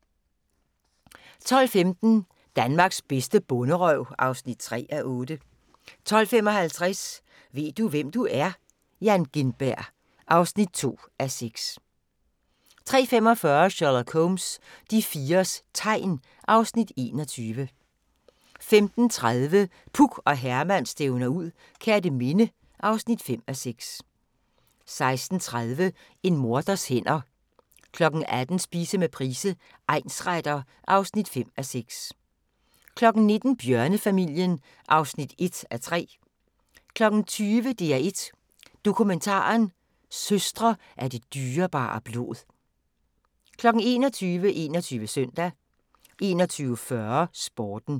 12:15: Danmarks bedste bonderøv (3:8) 12:55: Ved du hvem du er? - Jan Gintberg (2:6) 13:45: Sherlock Holmes: De fires tegn (Afs. 21) 15:30: Puk og Herman stævner ud - Kerteminde (5:6) 16:30: En morders hænder 18:00: Spise med Price, egnsretter (5:6) 19:00: Bjørnefamilien (1:3) 20:00: DR1 Dokumentaren: Søstre af det dyrebare blod 21:00: 21 Søndag 21:40: Sporten